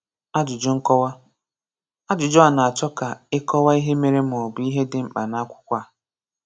Ajụjụ nkọwa: Ajụjụ a na-achọ ka ịkọwa ihe mere maọbụ ihe dị mkpa N'Akwụkwọ a.